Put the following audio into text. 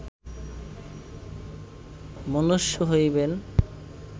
মনুষ্য হইবেন